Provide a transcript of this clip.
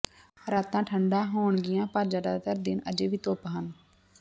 ਰਾਤਾਂ ਠੰਢਾ ਹੋਣਗੀਆਂ ਪਰ ਜ਼ਿਆਦਾਤਰ ਦਿਨ ਅਜੇ ਵੀ ਧੁੱਪ ਹਨ